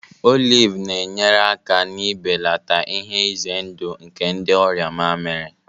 Olive na-enyere aka n'ibelata ihe ize ndụ nke ndị ọrịa mamịrị